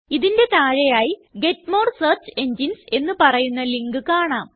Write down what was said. ഇതിന്റെ താഴെയായി get more search engines എന്ന് പറയുന്ന ലിങ്ക് കാണാം